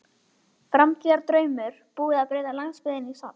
Framtíðardraumur og búið að breyta landsbyggðinni í safn.